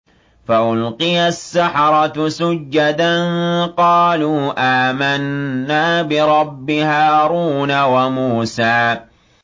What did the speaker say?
فَأُلْقِيَ السَّحَرَةُ سُجَّدًا قَالُوا آمَنَّا بِرَبِّ هَارُونَ وَمُوسَىٰ